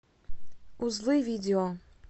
узлы видео